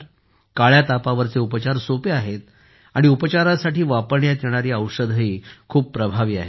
काळ्या तापावरचे उपचार सोपे आहेत आणि उपचारासाठी वापरण्यात येणारी औषधेही खूप प्रभावी आहेत